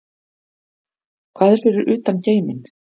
Hvað er fyrir utan geiminn?